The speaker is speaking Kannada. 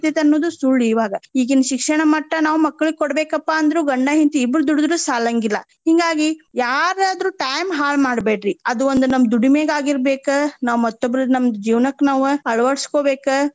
ಅನ್ನೋದು ಸುಳ್ ಇವಾಗ. ಈಗಿನ ಶಿಕ್ಷಣಮಟ್ಟ ನಾವ್ ಮಕ್ಳಿಗ್ ಕೊಡಬೇಕಪ್ಪಾ ಅಂದ್ರು ಗಂಡಾ ಹೆಂಡ್ತಿ ಇಬ್ರು ದುಡದ್ರು ಸಾಲಾಂಗಿಲ್ಲಾ. ಹಿಂಗಾಗಿ ಯಾರಾದ್ರು time ಹಾಳ್ ಮಾಡಬ್ಯಾಡ್ರಿ. ಅದು ಒಂದ್ ನಮ್ ದುಡಿಮೆಗ್ ಆಗಿರ್ಬೆಕ ನಾವ್ ಮತ್ತೊಬ್ಬರ್ ನಮ್ ಜೀವನಕ್ಕ ನಾವ ಅಳವಡಿಸ್ಕೊಬೇಕ.